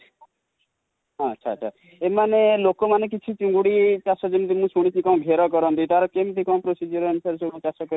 ଆଛା ଆଛା ଏମାନେ ଲୋକମାନେ କିଛି ଚିଙ୍ଗୁଡ଼ି ଚାଷ, ମୁଁ ଯେମିତି ଶୁଣିଚି କଣ ଘେର କରନ୍ତି ତାର କେମିତି କଣ procedure ଅନୁସାରେ ସବୁ ଚାଷ କରି କି